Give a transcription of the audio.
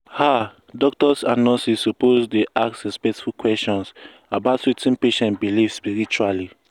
ah doctors and nurses suppose dey ask respectful question about wetin patient believe spiritually